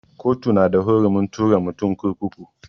Kotu na da hurumin tura mutum kurkuku.